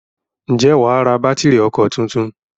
Ǹjẹ́ wà á ra bátìrì ọkọ̀ tuntun?